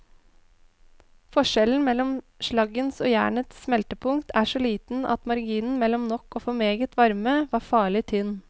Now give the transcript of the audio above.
Forskjellen mellom slaggens og jernets smeltepunkt er så liten at marginen mellom nok og for meget varme var farlig tynn.